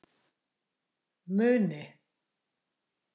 Muni